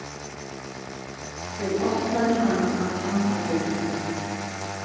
Ég opnaði hana af handahófi.